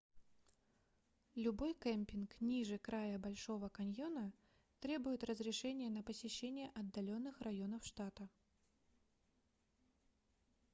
любой кемпинг ниже края большого каньона требует разрешения на посещение отдаленных районов штата